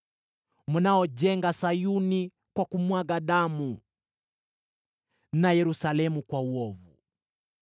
mnaojenga Sayuni kwa kumwaga damu na Yerusalemu kwa uovu.